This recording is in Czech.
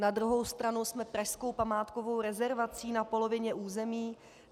Na druhou stranu jsme pražskou památkovou rezervací na polovině území.